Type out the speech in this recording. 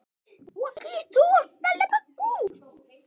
Ömmur kenna manni á lífið.